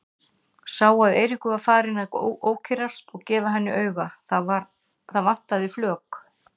Sá að Eiríkur var farinn að ókyrrast og gefa henni auga, það vantaði flök.